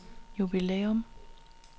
jubilæum